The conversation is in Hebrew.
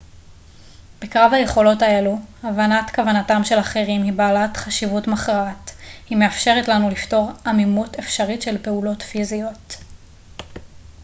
בקרב היכולות האלו הבנת כוונתם של אחרים היא בעלת חשיבות מכרעת היא מאפשרת לנו לפתור עמימות אפשרית של פעולות פיזיות